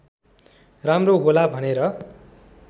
राम्रो होला भनेर